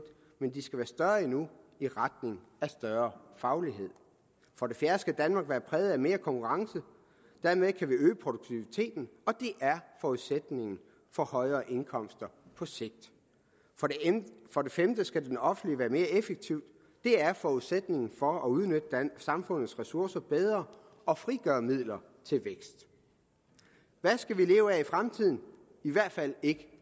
men de skal være større endnu i retning af større faglighed for det fjerde skal danmark være præget af mere konkurrence dermed kan vi øge produktiviteten og det er forudsætningen for højere indkomster på sigt for det femte skal den offentlige sektor være mere effektiv det er forudsætningen for at udnytte samfundets ressourcer bedre og frigøre midler til vækst hvad skal vi leve af i fremtiden i hvert fald ikke